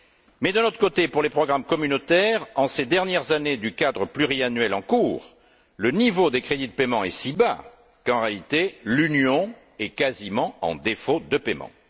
Mais d'un autre côté, pour les programmes communautaires, en ces dernières années du cadre pluriannuel en cours, le niveau des crédits de paiement est si bas qu'en réalité l'Union est quasiment en défaut de paiement.